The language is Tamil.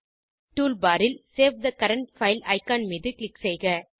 டூல்பார் ல் save the current file icon மீது க்ளிக் செய்க